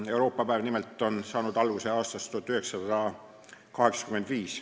Euroopa päev nimelt on saanud alguse aastast 1985.